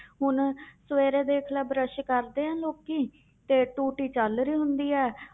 ਹੁਣ ਸਵੇਰੇ ਦੇਖ ਲੈ ਬਰਸ਼ ਕਰਦੇ ਹੈ ਲੋਕੀ ਤੇ ਟੂਟੀ ਚੱਲ ਰਹੀ ਹੁੰਦੀ ਹੈ।